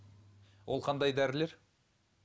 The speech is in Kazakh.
ол қандай дәрілер